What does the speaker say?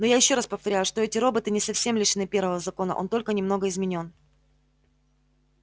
но я ещё раз повторяю что эти роботы не совсем лишены первого закона он только немного изменён